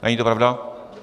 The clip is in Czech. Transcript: Není to pravda?